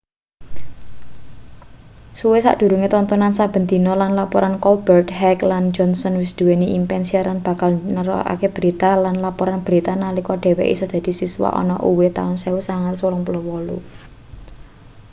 suwe sadurunge tontonan saben dina lan laporan colbert heck lan johnson wis nduweni impen siaran sing bakal nerokake berita-lan laporan berita-nalika dheweke isih dadi siswa ana uw taun 1988